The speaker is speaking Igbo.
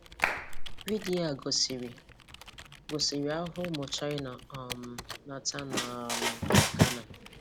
Vidio a gosiri gosiri ahụhụ ụmụ China um na-ata na um Ghana.